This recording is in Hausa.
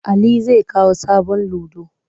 Ali zai kawo sabon ludo.